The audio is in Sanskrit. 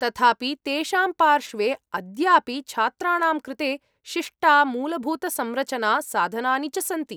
तथापि तेषां पार्श्वे अद्यापि छात्राणां कृते शिष्टा मूलभूतसंरचना साधनानि च सन्ति।